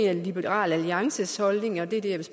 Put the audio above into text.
at liberal alliances holdning og det